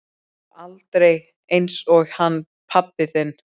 Og aldrei einsog hann pabbi þinn.